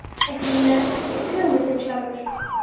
Eitthvað sem hann hafði ekki hugmynd um sjálfur.